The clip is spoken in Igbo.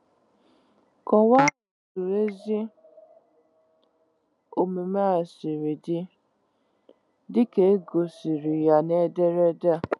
Kọwaa otu ezi omume a siri dị, dị ka e gosiri ya n'ederede a.